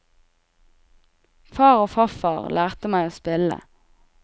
Far og farfar lærte meg å spille.